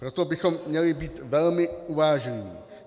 Proto bychom měli být velmi uvážliví.